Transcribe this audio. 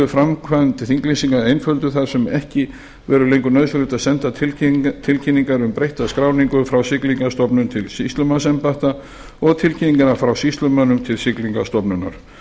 framkvæmd þinglýsinga einfölduð þar sem ekki verður lengur nauðsynlegt að senda tilkynningar um breytta skráningu frá siglingastofnun til sýslumannsembætta og tilkynningar frá sýslumönnum til siglingastofnunar